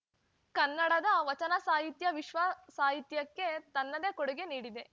ಕನ್ನಡದ ವಚನಸಾಹಿತ್ಯ ವಿಶ್ವಸಾಹಿತ್ಯಕ್ಕೆ ತನ್ನದೇ ಕೊಡುಗೆ ನೀಡಿದೆ